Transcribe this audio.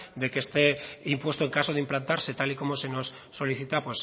de que este impuesto en caso de implantarse tal y como se nos solicita